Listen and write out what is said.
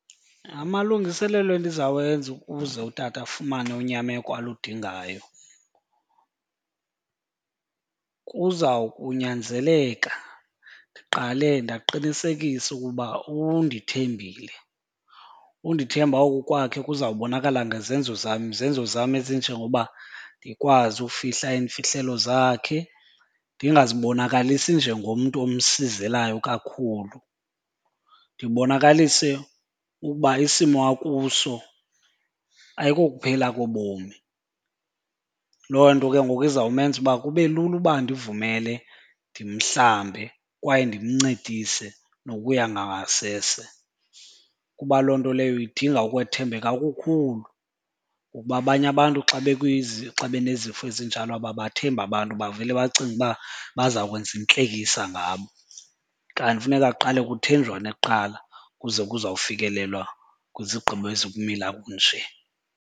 Amalungiselelo endiza wenza ukuze utata afumane unyameko aludingayo kuzawukunyanzeleka ndiqale ndingaqinisekisa ukuba undithembile. Undithemba oku kwakhe kuzawubonakala ngezenzo zam. Izenzo ezinjengokuba ndikwazi ufihla iimfihlelo zakhe, ndingazibonakalisi njengomntu omsizelayo kakhulu. Ndibonakalise ukuba isimo akuso ayikokuphela kobomi. Loo nto ke ngoku izawumenza ukuba kube lula uba andivumele ndimhlambe kwaye ndimncedise nokuya ngasese kuba loo nto leyo idinga ukwethembeka okukhulu. Ngokuba abanye abantu xa xa benezifo ezinjalo ababathembi abantu bavele bacinge uba bazawukwenza intlekisa ngabo. Kanti funeka kuqale kuthenjwane kuqala kuze kuzawufikelelwa kwizigqibo ezikumila kunje.